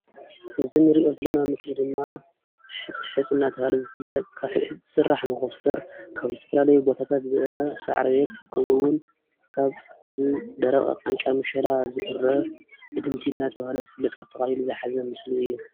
እዚ ንሪኦ ዘለና ምስሊ ድማ ሕፅሕፅ ዳ ተብሃለ ዝፈለጥ ካብ ሕፅ ዝስራሕ ሞከስተር ካብ ዝተፈላለዩ ቦታታት ዝእረ ሳዕሪ ከመኡ እውን ካብ ዝደረቀ ቃንጫ ምሸላ ዝእረ እድምቲ ዳ ተብሃለ ዝፍለጥ ኣጠቃሊሉ ዝሓዘ ምስሊ እዩ::